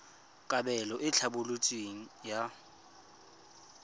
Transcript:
kabelo e e tlhaloswang ya